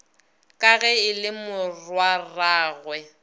ka ge e le morwarragwe